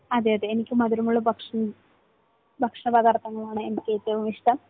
അതെയതെ. എനിക്ക് മധുരമുള്ള ഭക്ഷണം, ഭക്ഷണ പദാർഥങ്ങളാണ് എനിക്ക് ഏറ്റവും ഇഷ്ടം.